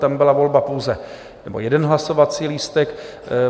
Tam byla volba pouze... nebo jeden hlasovací lístek.